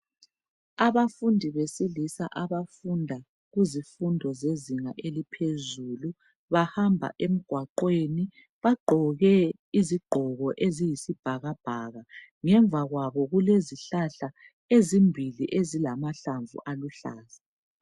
Abafundi besilisa abafunda kuzifundo zezinga eliphezulu bahamba emgwaqweni bagqoke izigqoko eziyisibhakabhaka ngemva kwabo kulezihlahla ezimbili ezilamahlamvu aluhlaza.